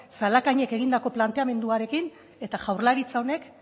zalakainek egindako planteamenduarekin eta jaurlaritza honek